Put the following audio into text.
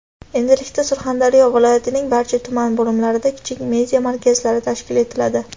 Endilikda Surxondaryo viloyatining barcha tuman bo‘limlarida kichik media markazlari tashkil etiladi.